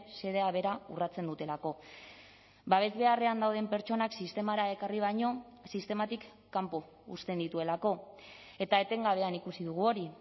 xedea bera urratzen dutelako babes beharrean dauden pertsonak sistemara ekarri baino sistematik kanpo uzten dituelako eta etengabean ikusi dugu hori